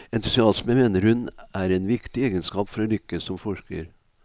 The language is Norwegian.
Entusiasme mener hun er en viktig egenskap for å lykkes som forsker.